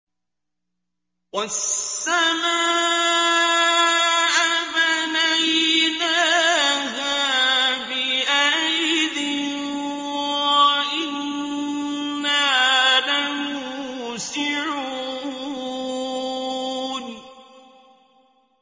وَالسَّمَاءَ بَنَيْنَاهَا بِأَيْدٍ وَإِنَّا لَمُوسِعُونَ